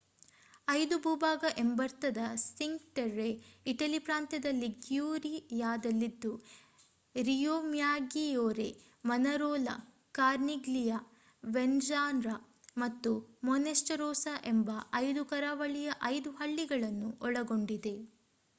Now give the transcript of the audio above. ಐದು ಭೂಭಾಗ ಎಂಬರ್ಥದ ಸಿಂಕ್ ಟೆರ್ರೆ ಇಟಲಿ ಪ್ರಾಂತ್ಯದ ಲಿಗ್ಯೂರಿಯಾದಲ್ಲಿದ್ದು ರಿಯೋಮ್ಯಾಗ್ಗಿಯೋರೆ ಮನರೋಲಾ ಕಾರ್ನಿಗ್ಲಿಯಾ ವೆರ್ನಾಜ್ಜಾ ಮತ್ತು ಮೋನ್ಟೆರೋಸೋ ಎಂಬ ಐದು ಕರಾವಳಿಯ ಐದು ಹಳ್ಳಿಗಳನ್ನು ಒಳಗೊಂಡಿದೆ